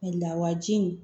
Lawaji in